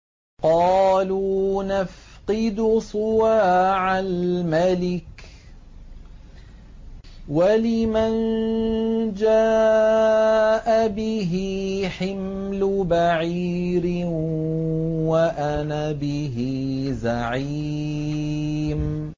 قَالُوا نَفْقِدُ صُوَاعَ الْمَلِكِ وَلِمَن جَاءَ بِهِ حِمْلُ بَعِيرٍ وَأَنَا بِهِ زَعِيمٌ